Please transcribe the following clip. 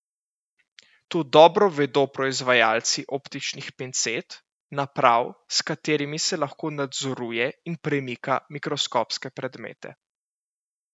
To dobro vedo proizvajalci optičnih pincet, naprav, s katerimi se lahko nadzoruje in premika mikroskopske predmete.